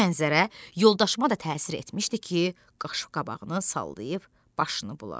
Bu mənzərə yoldaşıma da təsir etmişdi ki, qaşqabağını sallayıb başını buladı.